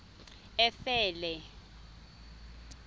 efele